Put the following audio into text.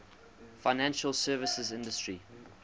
financial services industry